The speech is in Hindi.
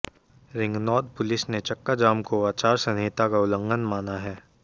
रिंगनौद पुलिस ने चक्काजाम को आचार संहिता का उल्लंघन माना है